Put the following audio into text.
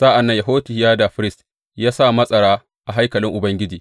Sa’an nan Yehohiyada firist ya sa matsara a haikalin Ubangiji.